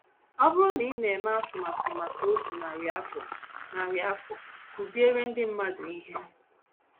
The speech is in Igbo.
Ọ bụrụ na ị na - eme atụmatụ maka otu narị afọ, narị afọ, kụziere ndị mmadụ ihe